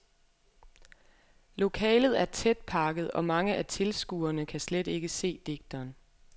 Lokalet er tætpakket, og mange af tilskuerne kan slet ikke se digteren.